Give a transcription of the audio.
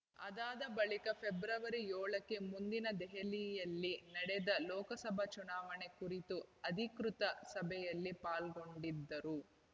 ಅದಾದ ಬಳಿಕ ಫೆಬ್ರವರಿ ಏಳಕ್ಕೆ ಮುಂದಿನ ದೆಹಲಿಯಲ್ಲಿ ನಡೆದ ಲೋಕಸಭಾ ಚುನಾವಣೆ ಕುರಿತಾದ ಅಧಿಕೃತ ಸಭೆಯಲ್ಲಿ ಪಾಲ್ಗೊಂಡಿದ್ದರು